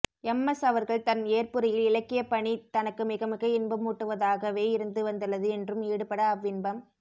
M எஸ்அவர்கள் தன் ஏற்புரையில் இலக்கியப்பணி தனக்கு மிக மிக இன்பமூட்டுவதாகவே இருந்து வந்துள்ளது என்றும் ஈடுபட அவ்வின்பம்